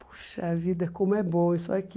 Puxa vida, como é bom isso aqui.